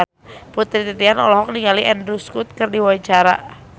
Putri Titian olohok ningali Andrew Scott keur diwawancara